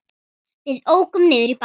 Við ókum niður í bæ.